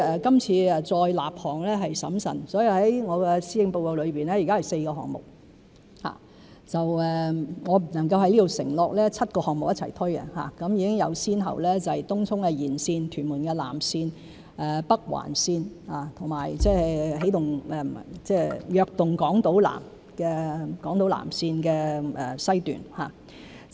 今次再立項是審慎的，所以在施政報告中有4個項目；我不能夠在此承諾7個項目會一同推進，已有先後次序，就是東涌綫延綫、屯門南延綫、北環綫，以及"躍動港島南"的南港島綫。